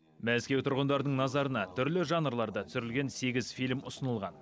мәскеу тұрғындардың назарына түрлі жанрларда түсірілген сегіз фильм ұсынылған